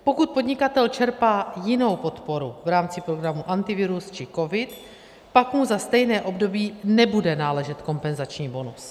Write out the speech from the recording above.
Pokud podnikatel čerpá jinou podporu v rámci programu Antivirus či COVID, pak mu za stejné období nebude náležet kompenzační bonus.